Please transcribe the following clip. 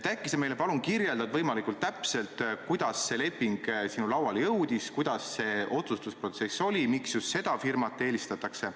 Äkki sa kirjeldad meile võimalikult täpselt, kuidas see leping sinu lauale jõudis, milline see otsustusprotsess oli, miks just seda firmat eelistatakse.